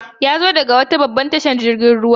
Yazo daga wata babbar tashar jirgin ruwa.